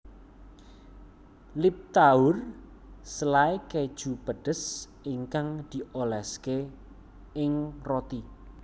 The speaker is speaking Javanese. Liptauer selai keju pedes ingkang dioleske ing roti